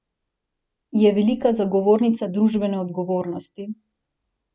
Je velika zagovornica družbene odgovornosti.